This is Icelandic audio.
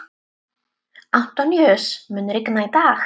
Antóníus, mun rigna í dag?